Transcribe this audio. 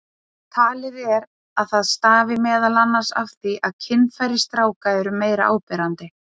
Talið er að það stafi meðal annars af því að kynfæri stráka eru meira áberandi.